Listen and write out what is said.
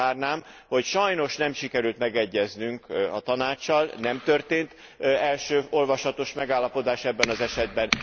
Azzal zárnám, hogy sajnos nem sikerült megegyeznünk a Tanáccsal, nem történt első olvasatos megállapodás ebben az esetben.